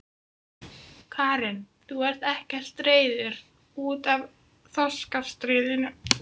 Karen: Þú ert ekkert reiður út af þorskastríðinu?